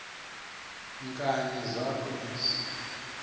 nkani zakho ezi